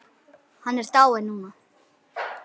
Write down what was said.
Hann er dáinn núna.